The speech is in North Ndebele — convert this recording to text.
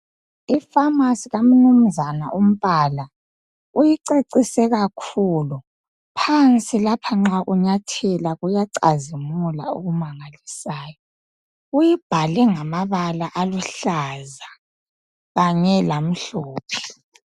Ipharmarcy ka mnumzana uMpala uyicecise kakhulu , phansi lapha nxa unyathela kuyacazimula. Uyibhale ngamabala aluhlaza kanye lamhlophe.